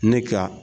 Ne ka